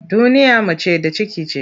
Duniya mace da ciki ce.